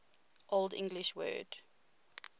old english word